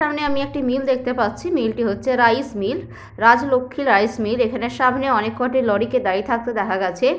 আমার সামনে আমি একটি মিল দেখতে পাচ্ছি মিল টি রাইস মিল রাজলক্ষী রাইসমিল । এখানের সামনে অনেক কটি লরিকে দাঁড়িয়ে থাকতে দেখা গেছে।